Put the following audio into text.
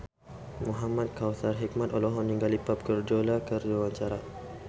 Muhamad Kautsar Hikmat olohok ningali Pep Guardiola keur diwawancara